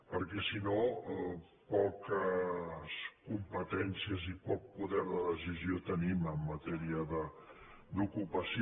perquè si no poques competències i poc poder de decisió te·nim en matèria d’ocupació